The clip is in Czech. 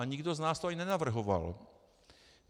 A nikdo z nás to ani nenavrhoval.